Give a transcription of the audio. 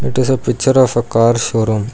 It is a picture of a car showroom.